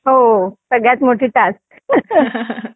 हो सगळ्यात मोठी टास्क